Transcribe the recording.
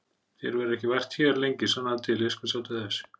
Þér verður ekki vært hér lengi, sannaðu til, ég skal sjá til þess